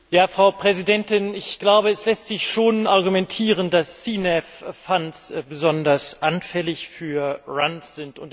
Frau Präsidentin! Ich glaube, es lässt sich schon argumentieren, dass CNAV Fonds besonders anfällig für Runs sind.